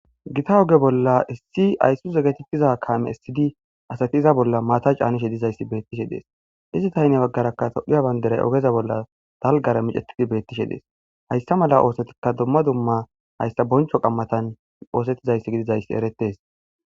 gita oge bolla issi ayssuze getetiza kame essidi asati iza bolla maata caanishe dizayssi beettishe dees izi tayne baggarakka tophphiya banderay ogeza bolla dalgara micetidi beettishe dees hayssa mala oosetika dumma dumma hayssa boncho qammatan oosettizayssi gidizayssi eretes